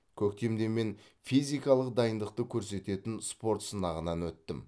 көктемде мен физикалық дайындықты көрсететін спорт сынағынан өттім